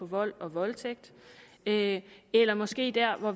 vold og voldtægt eller måske der hvor